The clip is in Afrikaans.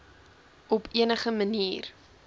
op enige manier